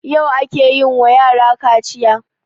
Yau ake yin wa yarakaciya